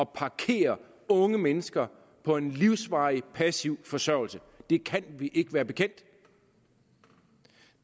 parkere unge mennesker på en livsvarig passiv forsørgelse det kan vi ikke være bekendt